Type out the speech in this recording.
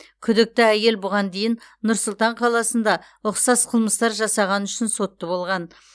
күдікті әйел бұған дейін нұр сұлтан қаласында ұқсас қылмыстар жасағаны үшін сотты болған